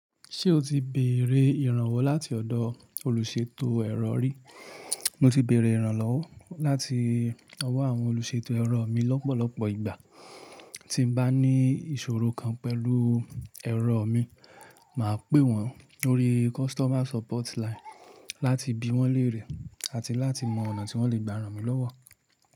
Ṣé o ti béèrè ìrànwọ́ láti ọ̀dọ̀ olùṣètò ẹ̀rọ rí? Mo ti béèrè ìrànlọ́wọ́ láti ọwọ́ àwọn olùṣètò ẹ̀rọ mi lọ́pọ̀lọpọ̀ ìgbà. Tí n bá ní ìṣòro kan pẹ̀lú ẹ̀rọ mi, màá pè wọ́n lórí customer support line láti bí wọ́n léèrè àti láti mọ ọ̀nà tí wọ́n lè gbà rán mi lọ́wọ́.